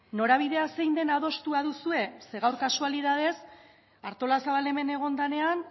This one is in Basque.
norabidea zein den adostua duzue ze gaur kasualitatez artolazabal hemen egon denean